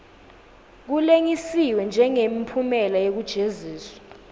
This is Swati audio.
kulengisiwe njengemphumela wekujeziswa